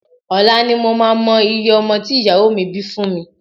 Ọ̀la ni mo máa mọ iye ọmọ tí ìyàwó mi bí fún mi